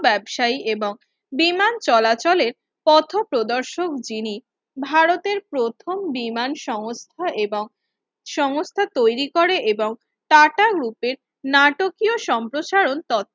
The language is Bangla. ব্যবসায়ী এবং বিমান চলাচলের পথপ্রদর্শক যিনি ভারতের প্রথম বিমান সংস্থা এবং সংস্থা তৈরি করে এবং টাটা গ্রুপের নাটকীয় সম্প্রচারণ তথ্য